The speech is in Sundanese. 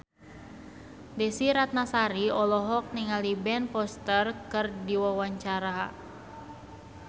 Desy Ratnasari olohok ningali Ben Foster keur diwawancara